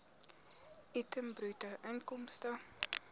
item bruto inkomste